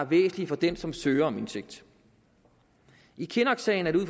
væsentlige for den som søger om indsigt i kinnocksagen er det ud